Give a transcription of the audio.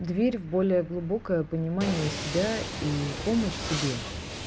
дверь в более глубокое понимание себя и помощь себе